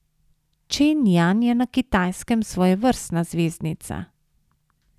Čen Jan je na Kitajskem svojevrstna zvezdnica.